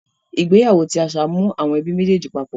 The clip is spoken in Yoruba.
Ìgbéyàwó ti àṣà mu àwọn ẹbí méjèjì papọ̀.